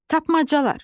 Tapmacalar.